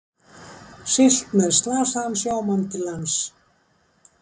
Siglt með slasaðan sjómann til lands